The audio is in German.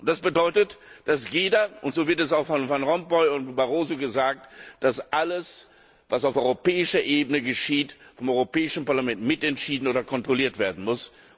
Das bedeutet, dass alles und so wird es auch von Van Rompuy und Barroso gesagt was auf europäischer Ebene geschieht, vom Europäischen Parlament mitentschieden oder kontrolliert werden muss.